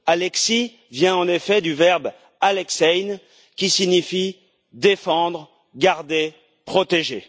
Alexis vient en effet du verbe alexeïn, qui signifie défendre, garder, protéger.